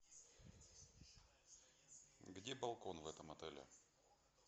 где балкон в этом отеле